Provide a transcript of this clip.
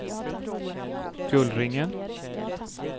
Gullringen